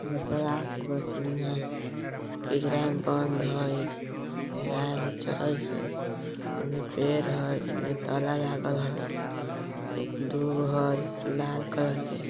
येमें ब्राश बारसिंह पिंजरा में बंद हई गराएल चरइस हई ओने पेड़ हई एन्ने ताला लागल हई दुगो हई लाल कलर कै।